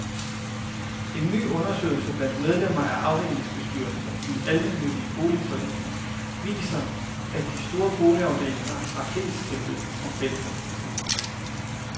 En ny undersøgelse blandt medlemmer af afdelingsbestyrelser i almennyttige boligforeninger, viser, at de store boligafdelinger har flest tilbud om fællesaktiviteter.